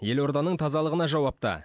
елорданың тазалығына жауапты